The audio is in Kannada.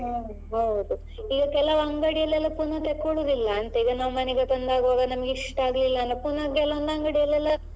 ಹಾ ಹೌದು ಈಗ ಕೆಲಾವ್ ಅಂಗಡಿಯಲ್ಲೆಲ್ಲ ಎಲ್ಲ ಪುನಃ ತೆಕೊಳುದಿಲ್ಲ ಅಂತೆ ಈಗ ನಾವ್ ಮನೆಗೆ ತಂದಾಗುವಾಗ ನಮ್ಗೆ ಇಷ್ಟ ಆಗ್ಲಿಲ್ಲ ಪುನಃ ಕೆಲವೊಂದು ಅಂಗಡಿಯಲೆಲ್ಲ.